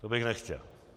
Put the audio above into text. To bych nechtěl.